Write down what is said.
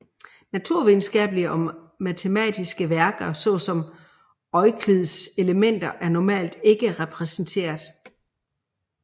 Naturvidenskabelige og matematiske værker såsom Euklids Elementer er normalt ikke repræsenteret